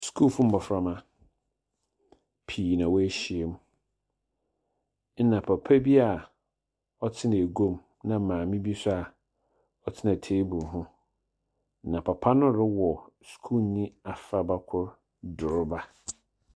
Sukuufo mbɔframba pii na woehyiam, ɛnna papa bi a ɔtsena eguam, na maame bi nso a ɔtsena table ho, na papa no rewɔ skuulni afraba kor doroba.